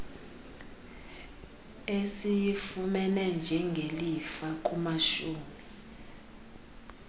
esiyifumene njengelifa kumashumi